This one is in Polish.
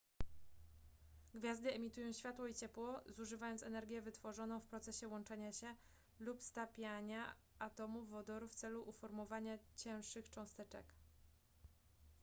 gwiazdy emitują światło i ciepło zużywając energię wytworzoną w procesie łączenia się lub stapiania atomów wodoru w celu uformowania cięższych cząsteczek